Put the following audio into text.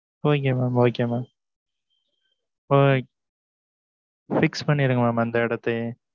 Okay mam okay mam o~ fix பண்ணிருங்க, mam அந்த இடத்தையே.